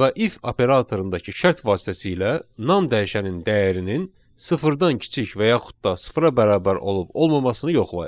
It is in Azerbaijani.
və if operatorundakı şərt vasitəsilə non dəyişənin dəyərinin sıfırdan kiçik və yaxud da sıfıra bərabər olub olmamasını yoxlayır.